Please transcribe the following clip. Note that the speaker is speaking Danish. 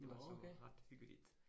Det var så ret hyggeligt